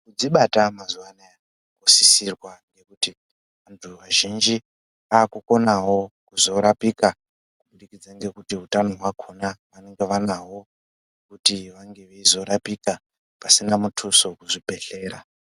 Kudzibata mazuwanaya kusisirwa ngokuti antu azhinji akukonawo kuzorapika kubudikidza ngokuti utano hwakona vanenge vanahwo kuti vange veizorapika pasina mutuso kuzvibhedhlera.